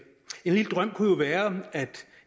en lille drøm kunne jo være at